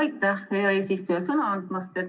Aitäh, hea eesistuja, sõna andmast!